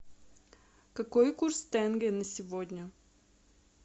какой курс тенге на сегодня